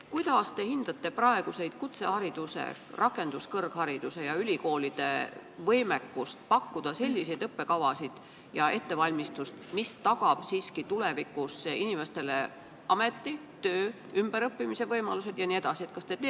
Kuidas te hindate praegust kutsehariduse, rakenduskõrghariduse ja ülikoolide võimekust pakkuda selliseid õppekavasid ja sellist ettevalmistust, mis tagab tulevikus inimestele töö, ümberõppimise võimalused jne?